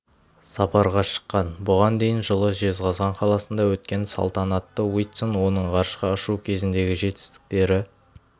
сапарға шыққан бұған дейін жылы жезқазған қаласында өткен салтанатта уитсон оның ғарышқа ұшу кезіндегі жетістіктері